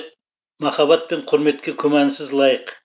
махаббат пен құрметке күмәнсіз лайық